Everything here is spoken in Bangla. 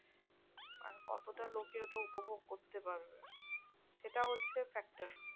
আর কতটা লোকে ওটা উপভোগ করতে পারবে? সেটা হচ্ছে factor.